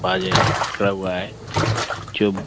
बाजे हुआ है जो --